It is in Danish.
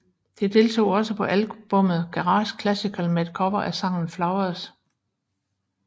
De deltog på albummet Garage Classical med et cover af sangen Flowers